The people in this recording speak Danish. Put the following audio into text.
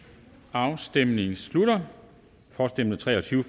afstemningen slutter for stemte tre og tyve